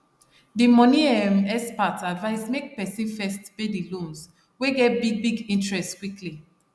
the money um expert advise make person first pay the loans wey get big big interest quickly